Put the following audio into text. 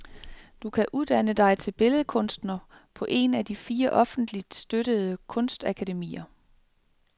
Du kan uddanne dig til billedkunstner på et af de fire offentligt støttede kunstakademier.